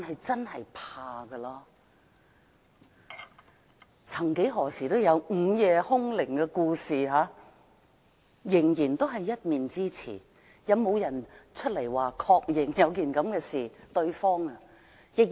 曾幾何時有人提及午夜凶鈴，但那仍然是一面之詞，有沒有人確認曾經發生這種事？